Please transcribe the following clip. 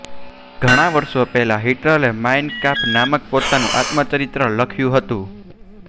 ઘણા વર્ષો પહેલા હિટલરે માઈન કામ્ફ નામક પોતાનું આત્મચરિત્ર લખ્યું હતું